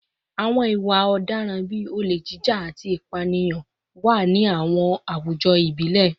Àwọn ìwà ọ̀daràn bíi olè jíjà, olè jíjà, àti ìpànìyàn wà ní àwọn àwùjọ ìbílẹ̀